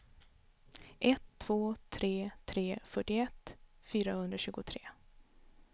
ett två tre tre fyrtioett fyrahundratjugotre